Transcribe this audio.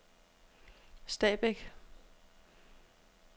Stabæk